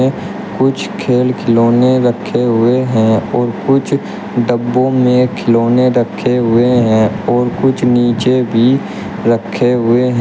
कुछ खेल खिलौने रखे हुए हैं और कुछ डब्बों में खिलौने रखे हुए हैं और कुछ नीचे भी रखे हुए हैं।